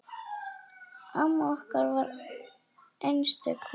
Amma okkar var einstök kona.